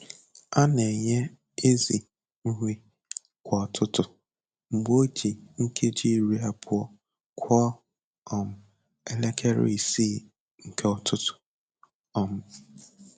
A na-enye ezì nri kwa ụtụtụ mgbe o ji nkeji iri abụọ kụọ um elekere isii nke ụtụtụ. um